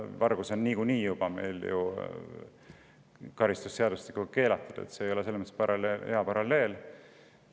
Vargus on ju niikuinii meil juba karistusseadustikuga keelatud, see ei olnud selles mõttes hea paralleel.